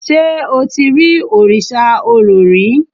ṣe o ti ri Òrìṣà Orò rí?